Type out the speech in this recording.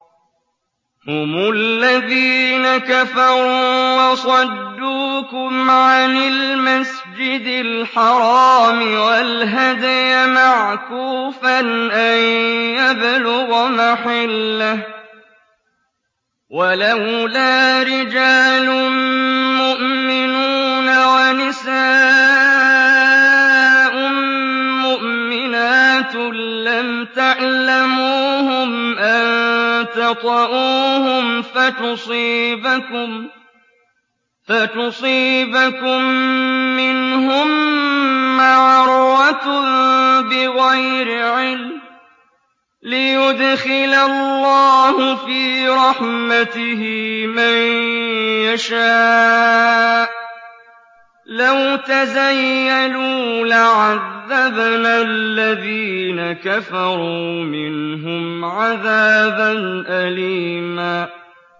هُمُ الَّذِينَ كَفَرُوا وَصَدُّوكُمْ عَنِ الْمَسْجِدِ الْحَرَامِ وَالْهَدْيَ مَعْكُوفًا أَن يَبْلُغَ مَحِلَّهُ ۚ وَلَوْلَا رِجَالٌ مُّؤْمِنُونَ وَنِسَاءٌ مُّؤْمِنَاتٌ لَّمْ تَعْلَمُوهُمْ أَن تَطَئُوهُمْ فَتُصِيبَكُم مِّنْهُم مَّعَرَّةٌ بِغَيْرِ عِلْمٍ ۖ لِّيُدْخِلَ اللَّهُ فِي رَحْمَتِهِ مَن يَشَاءُ ۚ لَوْ تَزَيَّلُوا لَعَذَّبْنَا الَّذِينَ كَفَرُوا مِنْهُمْ عَذَابًا أَلِيمًا